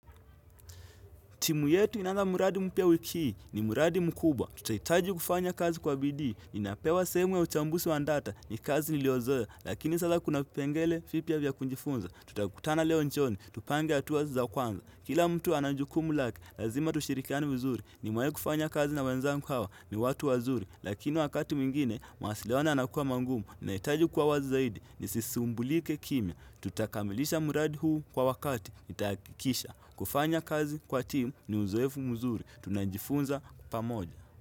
Timu yetu inaanza mradi mpya wiki hii ni mradi mkubwa. Tutahitaji kufanya kazi kwa bidii. Ninapewa sehemu ya uchambuzi wa data ni kazi niliozoea. Lakini sasa kuna pengele vipya vya kujifunza. Tutakutana leo jioni. Tupange hatua hizi za kwanza. Kila mtu ana jukumu lake. Lazima tushirikiane vizuri. Nimewahi kufanya kazi na wenzangu hawa ni watu wazuri. Lakini wakati mwingine, mawasiliano yanakuwa mangumu. Nahitaji kuwa wazi zaidi. Nisisumbulike kimya. Tutakamilisha muradi huu kwa wakati. Ntahakikisha kufanya kazi kwa timu ni uzoefu mzuri Tunajifunza pamoja.